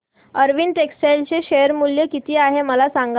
Arvind textile चे share मूल्य किती आहे मला सांगा